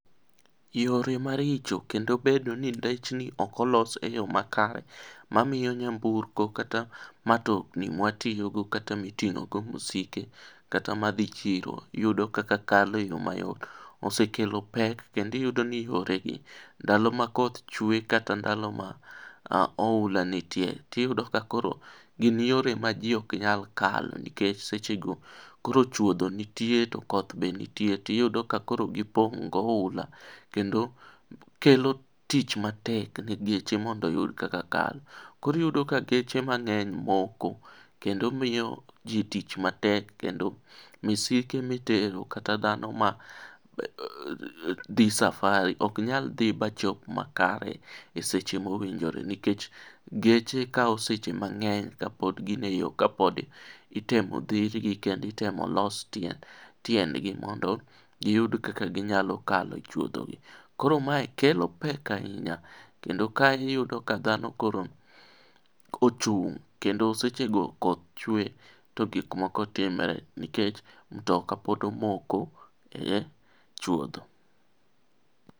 Yore maricho kendo bedo ni ndechni ok olos e yoo makare mamiyo nyamburko kata matokni mwatiyogo kata miting'ogo misike, kata madhi chiro iyudo kaka kalo e yoo mayot. Osekelo pek kendo iyudo ni yoregi, ndalo ma koth chwee kata ndalo ma oula nitie, tiyudo ka koro gin yore ma jii ok nyal kalo nikech sechego, koro chuodho nitie to kodh be nitie , tiyudo ka koro gipong' gi oula .Kendo, kelo tich matek ne geche mondo oyud kaka kadho. Koro iyudo ka geche mang'eny moko kendo miyo ji tich matek kendo misike mitero kata dhano ma dhi safari ok nyal dhi machop makare e seche mowinjore nikech, geche kawo seche mang'eny ka pod gin e yoo, ka pod itemo dhirgi kendo itemo los tiendgi mondo giyud kaka ginyalo kalo chuodhogi. Koro mae kelo pek ahinya, kendo kae iyudo ka dhano koro kochung', kendo sechego koth chwee to gik moko timre nikech mtokaa pod omoko ,e chuodho.